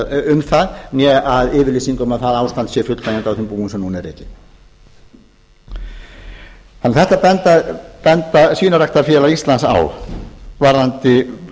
um það né yfirlýsing um að það ástand sé fullnægjandi á þeim búum sem núna eru rekin þetta bendir svínaræktarfélag íslands á varðandi